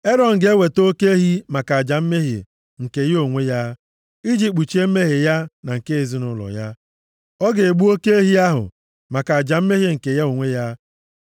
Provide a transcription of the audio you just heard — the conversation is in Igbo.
“Erọn ga-eweta oke ehi maka aja mmehie nke ya onwe ya, iji kpuchie mmehie ya na nke ezinaụlọ ya. Ọ ga-egbu oke ehi ahụ maka aja mmehie nke ya onwe ya.